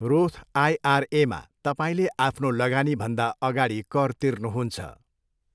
Roth आइआरएमा, तपाईँले आफ्नो लगानीभन्दा अगाडि कर तिर्नुहुन्छ।